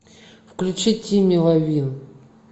включи ти меловин